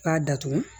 K'a datugu